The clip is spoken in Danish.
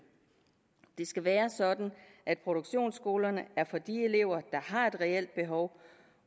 det skal være sådan at produktionsskolerne er for de elever der har et reelt behov